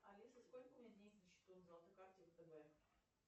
алиса сколько у меня денег на счету на золотой карте втб